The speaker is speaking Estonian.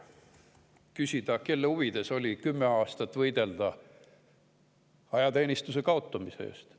küsida, kelle huvides oli kümme aastat võidelda ajateenistuse kaotamise eest.